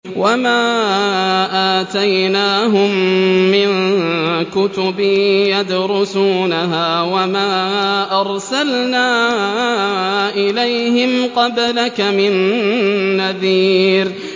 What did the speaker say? وَمَا آتَيْنَاهُم مِّن كُتُبٍ يَدْرُسُونَهَا ۖ وَمَا أَرْسَلْنَا إِلَيْهِمْ قَبْلَكَ مِن نَّذِيرٍ